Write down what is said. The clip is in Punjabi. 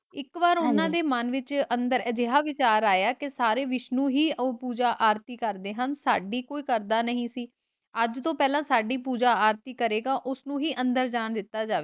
ਇੱਕ ਵਾਰ ਉਹਨਾਂ ਦੇ ਮਨ ਵਿੱਚ ਅੰਦਰ ਅਜਿਹਾ ਵਿਚਾਰ ਆਇਆ ਕਿ ਸਾਰੇ ਵਿਸ਼ਨੂੰ ਹੀ ਆਰਤੀ ਕਰਦੇ ਹਨ, ਸਾਡੀ ਕੋਈ ਕਰਦਾ ਨਹੀਂ ਸੀ, ਅੱਜ ਤੋਂ ਪਹਿਲਾਂ ਸਾਡੀ ਪੂਜਾ ਆਰਤੀ ਕਰੇਗਾ ਉਸਨੂੰ ਹੀ ਅੰਦਰ ਜਾਣ ਦਿੱਤਾ ਜਾਵੇਗਾ।